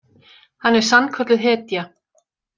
Hann er sannkölluð hetja!